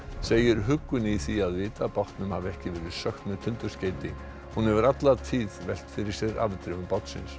segir huggun í því að vita að bátnum hafi ekki verið sökkt með tundurskeyti hún hefur alla tíð velt fyrir sér afdrifum bátsins